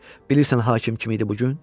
Bilirsən hakim kim idi bu gün?